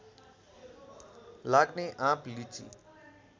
लाग्ने आँप लिची